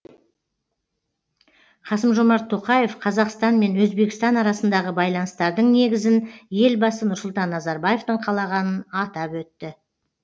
қасым жомарт тоқаев қазақстан мен өзбекстан арасындағы байланыстардың негізін елбасы нұрсұлтан назарбаевтың қалағанын атап өтті